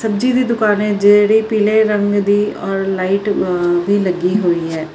ਸਬਜੀ ਦੀ ਦੁਕਾਨ ਐ ਜਿਹੜੀ ਪੀਲੇ ਰੰਗ ਦੀ ਔਰ ਲਾਈਟ ਵੀ ਲੱਗੀ ਹੋਈ ਹੈ।